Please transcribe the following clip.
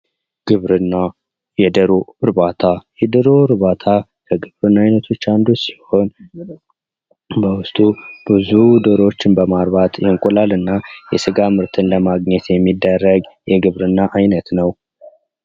ግብርና ፦ የዶሮ እርባታ ፦ የዶሮ እርባታ ከግብርና አይነቶች አንዱ ሲሆን በውስጡ ብዙ ዶሮዎችን በማርባት እንቁላል እና የስጋ ምርትን ለማግኘት የሚደረግ የግብርና አይነት ነው ።